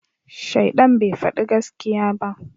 Shaidan bai fadi gaskiya ba